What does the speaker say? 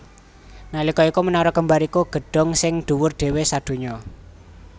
Nalika iku Menara Kembar iku gedhong sing dhuwur dhéwé sadonya